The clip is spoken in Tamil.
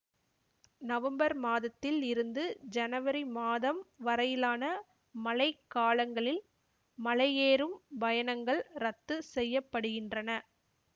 நவம்பர் மாதத்தில் இருந்து ஜனவரி மாதம் வரையிலான மழை காலங்களில் மலையேறும் பயணங்கள் ரத்து செய்ய படுகின்றன